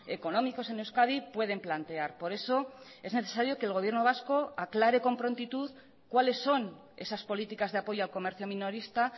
económicos en euskadi pueden plantear por eso es necesario que el gobierno vasco aclare con prontitud cuáles son esas políticas de apoyo al comercio minorista